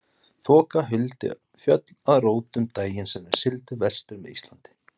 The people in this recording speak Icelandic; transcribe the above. Þoka huldi fjöll að rótum daginn sem þeir sigldu vestur með Íslandi.